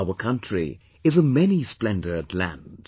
Our country is a many splendoured land